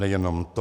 Nejenom to.